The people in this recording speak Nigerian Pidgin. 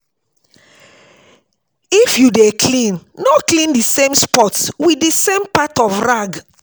If you dey clean no clean the same spot with the same part of the rag